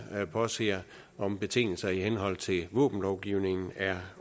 påser om betingelserne i henhold til våbenlovgivningen er